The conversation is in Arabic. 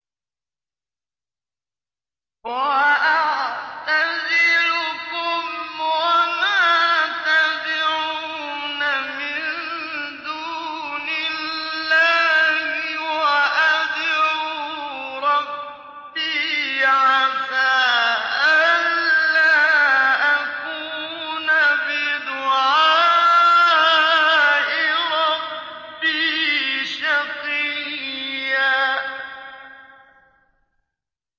وَأَعْتَزِلُكُمْ وَمَا تَدْعُونَ مِن دُونِ اللَّهِ وَأَدْعُو رَبِّي عَسَىٰ أَلَّا أَكُونَ بِدُعَاءِ رَبِّي شَقِيًّا